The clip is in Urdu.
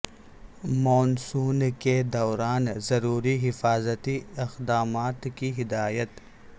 مون سون کے دوران ضروری حفاظتی اقدامات کی ہدایت